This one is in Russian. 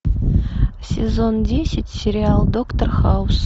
сезон десять сериал доктор хаус